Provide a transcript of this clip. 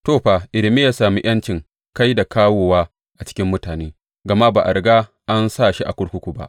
To, fa, Irmiya ya sami ’yancin kai da kawowa a cikin mutane, gama ba a riga an sa shi a kurkuku ba.